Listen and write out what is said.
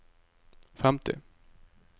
femti